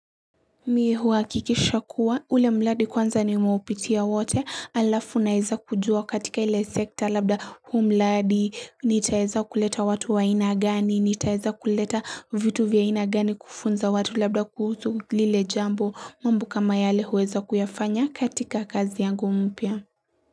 Mimi huhakikisha kuwa ule mradi kwanza nimeupitia wote alafu naweza kujua katika ile sekta labda huu mradi, nitaeza kuleta watu wa aina gani, nitaweza kuleta vitu vya aina gani kufunza watu labda kuhusu lile jambo mambo kama yale huweza kuyafanya katika kazi yangu mpia.